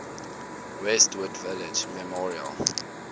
westwood village memorial